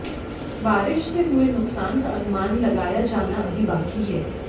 बारिश से हुए नुकसान का अनुमान लगाया जाना अभी बाकी है